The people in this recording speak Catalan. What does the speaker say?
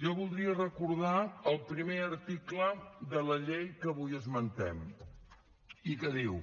jo voldria recordar el primer article de la llei que avui esmentem i que diu